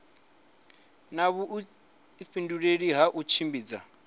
na vhuifhinduleli ha u tshimbidza